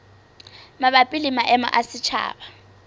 mabapi le maemo a setjhaba